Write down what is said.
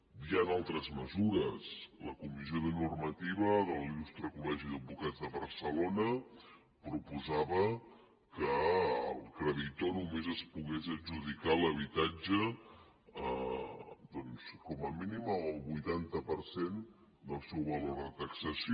hi han altres mesures la comissió de normativa de l’il·lustre col·legi d’advocats de barcelona proposava que el creditor només es pogués adjudicar l’habitatge doncs com a mínim en el vuitanta per cent del seu valor de taxació